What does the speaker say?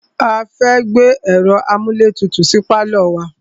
A fẹ́ gbé ẹ̀ro amúlétutù sí pálọ̀ wa.